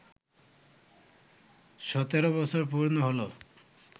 সতেরো বছর পূর্ণ হলো